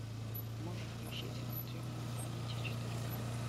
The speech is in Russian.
можешь включить внутри моей памяти четыре ка